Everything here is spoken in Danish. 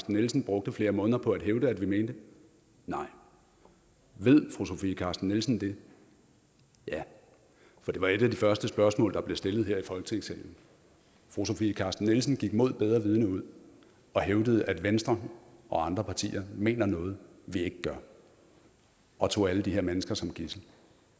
nielsen brugte flere måneder på at hævde at vi mente nej ved fru sofie carsten nielsen det ja for det var et af de første spørgsmål der blev stillet her i folketingssalen fru sofie carsten nielsen gik imod bedre vidende ud og hævdede at venstre og andre partier mener noget vi ikke gør og tog alle de her mennesker som gidsel